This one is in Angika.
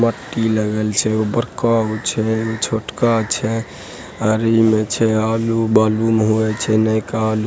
मट्टी लगल छै उ बड़का गो छै छोटका छै आर इमे छै आलू-बालू में होय छै नयका आलू --